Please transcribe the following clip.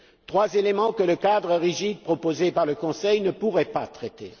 Trois éléments que le cadre rigide proposé par le Conseil ne pouvait pas traiter.